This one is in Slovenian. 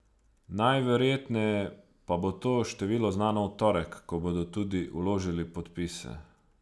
Najverjetneje pa bo to število znano v torek, ko bodo tudi vložili podpise.